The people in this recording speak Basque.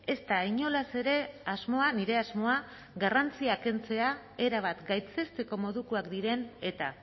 ez da inolaz ere asmoa nire asmoa garrantzia kentzea erabat gaitzesteko modukoak diren eta